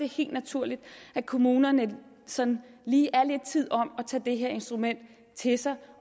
helt naturligt at kommunerne sådan lige er lidt tid om at tage det her instrument til sig